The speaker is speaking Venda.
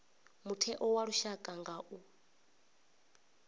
mutheo wa lushaka u nga